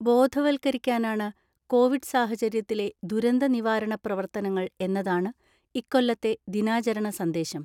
ബോധവൽക്കരിക്കാനാണ് Covid സാഹചര്യത്തിലെ ദുരന്ത നിവാരണ പ്രവർത്തനങ്ങൾ എന്നതാണ് ഇക്കൊല്ലത്തെ ദിനാചരണ സന്ദേശം.